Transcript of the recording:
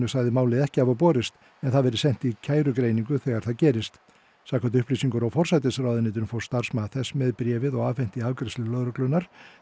sagði málið ekki hafa borist en það verði sent í þegar það gerist samkvæmt upplýsingum frá forsætisráðuneytinu fór starfsmaður þess með bréfið og afhenti í afgreiðslu lögreglunnar